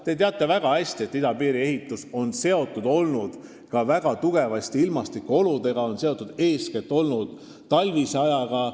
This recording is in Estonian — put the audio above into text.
Te teate väga hästi, et idapiiri ehitus on olnud väga tugevasti seotud ka ilmastikuoludega, eeskätt talvise ajaga.